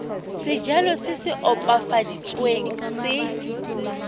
sejalo se se opafaditsweng se